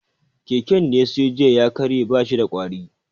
Keken da ya siyo jiya ya karye, ba shi da ƙwari